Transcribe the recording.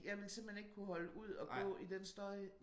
Jeg ville simpelthen ikke kunne holde ud at gå i den støj